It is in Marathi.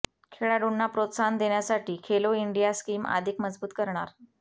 खेळाडूंना प्रोत्साहन देण्यासाठी खेलो इंडिया स्कीम अधिक मजबूत करणार